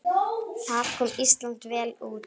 Þar kom Ísland vel út.